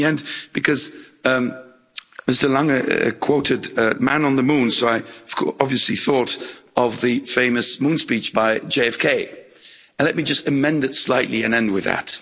And let me end, because Mr Lange quoted Man on the Moon', so I obviously though of the famous moon speech by JFK, and let me just amend it slightly and end with that.